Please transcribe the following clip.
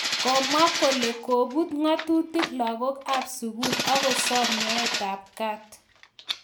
komwa kole kobut ng'atutik lakok ab sugul akosom nyoet ab kaat